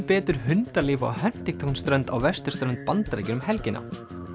betur hundalíf á Huntington strönd á vesturströnd Bandaríkjanna um helgina